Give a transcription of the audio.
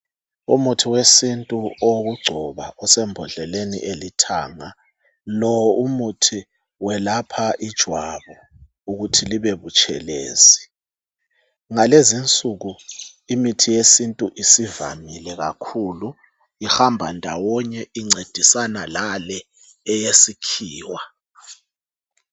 Umuthi wesintu owokugcoba osembodleleni elithanga .Lowu umuthi welapha ijwabu ukuthi libe butshelezi. Ngalezinsuku imithi yesintu isivamile kakhulu ihamba ndawonye incedisana lale eyesikhiwa.